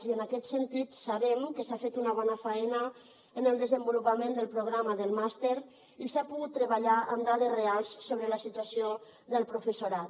i en aquest sentit sabem que s’ha fet una bona faena en el desenvolupament del programa del màster i s’ha pogut treballar amb dades reals sobre la situació del professorat